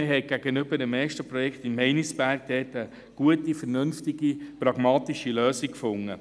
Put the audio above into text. Man hat gegenüber dem ersten Projekt in Meinisberg eine gute, vernünftige, pragmatische Lösung gefunden.